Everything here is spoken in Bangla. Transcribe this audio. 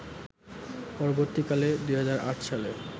পরবর্তীকালে ২০০৮ সালে